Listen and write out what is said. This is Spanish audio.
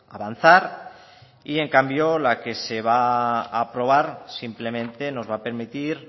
avanzar y en cambio la que se va a aprobar simplemente nos va a permitir